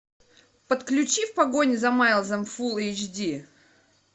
подключи в погоне за майлзом фулл эйч ди